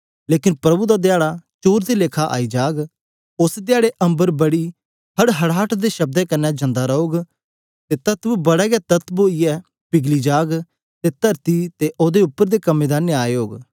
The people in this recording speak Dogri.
लेकन प्रभु दा धयारे चोर दे लेखा आई जाग ओस धयारे अम्बर बड़ी हड़हड़ाहट दे शब्द कन्ने जानदा रौग अते तत्व बड़ा हे तत्व ओई यै पिघली जाग अते तरती अते ओहदे उप्पर दे कम जल पान गे